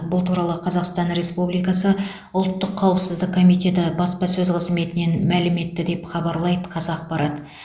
бұл туралы қазақстан республикасы ұлттық қауіпсіздік комитеті баспасөз қызметінен мәлім етті деп хабарлайды қазақпарат